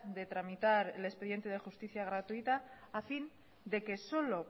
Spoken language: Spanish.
de tramitar el expediente de justicia gratuita a fin de que solo